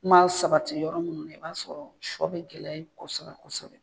man sabati yɔrɔ minnu na i b'a sɔrɔ shɔ bɛ gɛlɛya ye kosɔbɛ kosɔbɛ.